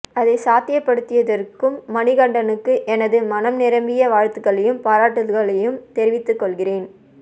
அதைச் சாத்தியப்படுத்தியிருக்கும் மணிகண்டனுக்கு எனது மனம் நிரம்பிய வாழ்த்துகளையும் பாராட்டுதல்களையும் தெரிவித்துக் கொள்கிறேன்